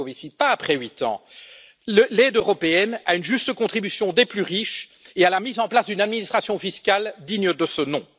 Moscovici, pas après huit ans, l'aide européenne à une juste contribution des plus riches et à la mise en place d'une administration fiscale digne de ce nom.